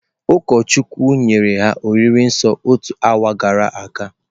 Ụkọchukwu nyere ha oriri nsọ otu awa gara aga.